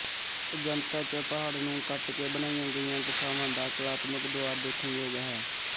ਅਜੰਤਾ ਚ ਪਹਾੜ ਨੂੰ ਕੱਟ ਕੇ ਬਣਾਈਆਂ ਗਈਆਂ ਗੁਫਾਵਾਂ ਦਾ ਕਲਾਤਮਕ ਦੁਆਰ ਦੇਖਣ ਯੋਗ ਹੈ